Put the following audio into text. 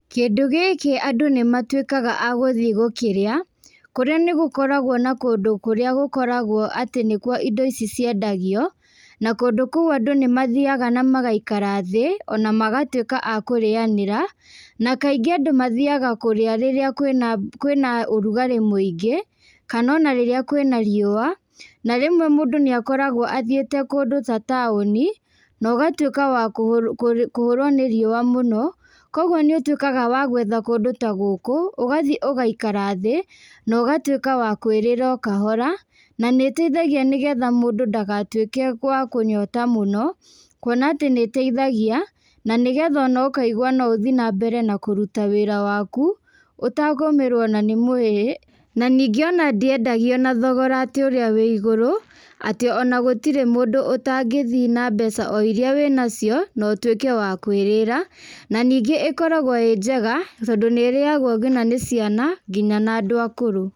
Kindũ gĩkĩ andũ nĩmatuĩkaga a gũthiĩ gũkĩrĩa, kũrĩa nĩgũkoragwo na kũndũ kũrĩa gũkoragwo atĩ nĩkuo indo ici ciendagio, na kũndũ kũu andũ nĩmathiaga na magaikara thĩ, onamagatuĩka a kũrĩanĩra, na kaingĩ andũ mathiĩaga kũrĩa rĩrĩa kwĩna kwĩna ũrugarĩ mũingĩ, kana ona rĩrĩa kwĩna riua, na rĩmwe mũndũ nĩakoragwo athiĩte kũndũ ta taũni, na ũgatuĩka wa kũ kũ kũhũrwo nĩ riua mũno, koguo nĩũtuĩkaga wa gwetha kũndũ ta gũkũ, ũgathĩ ũgaikara thĩ, na ũgatuĩka wa kwĩrĩra o kahora, na nĩiteithagia nĩgetha mũndũ ndagatuĩke wa kũnyota mũno, kuona atĩ nĩiteithagia, na nĩgetha ona ũkaigwa no ũthiĩ nambere na kũruta wĩra waku, ũtagũmĩrwo ona nĩ mwĩrĩ, na ningĩ ona ndiendagio na thogora atĩ ũrĩa wĩ igũrũ, atĩ ona gũtirĩ mũndũ ũtangĩthiĩ nambeca o iria wĩnacio, na ũtuĩke wa kwĩrĩra, na ningĩ ĩkoragwo ĩ njega, tondũ nĩrĩagwo nginya nĩ ciana, nginya na andũ akũrũ.